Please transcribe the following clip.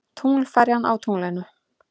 Tunglferjan á tunglinu.